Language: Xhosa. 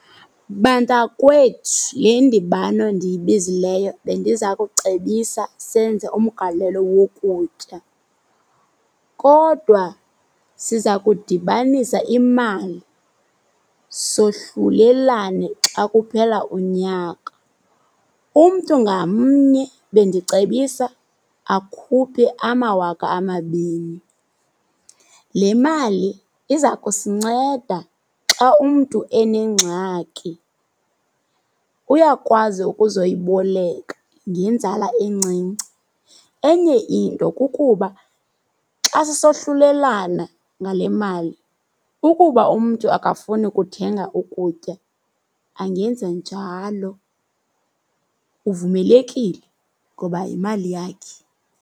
Bantakwethu, le ndibano ndiyibizileyo bendiza kucebisa senze umgalelo wokutya. Kodwa siza kudibanisa imali, sohlulelane xa kuphela unyaka. Umntu ngamnye bendicebisa akhuphe amawaka amabini. Le mali iza kusinceda xa umntu enengxaki uyakwazi ukuzoyiboleka ngenzala encinci. Enye into kukuba xa sisohlulelana ngale mali ukuba umntu akafuni ukuthenga ukutya angenza njalo, uvumelekile ngoba yimali yakhe.